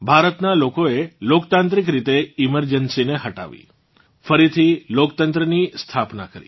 ભારતનાં લોકોએ લોકતાંત્રિક રીતે એમર્જન્સી ને હટાવી ફરીથી લોકતંત્રની સ્થાપના કરી